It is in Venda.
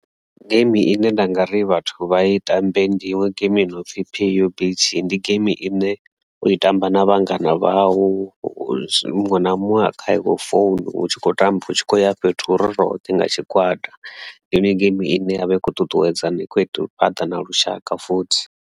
Geimi ine nda nga ri vhathu vha i tambe ndi iṅwe game inopfhi P_U_B_T ndi game ine u i tamba na vhangana vhau muṅwe na muṅwe a kha yawe phone hu tshi khou tamba hu tshi kho ya fhethu ho ri roṱhe nga tshigwada ndi iṅwe game ine yavha i kho ṱuṱuwedza na ikho fhaṱa na lushaka futhi.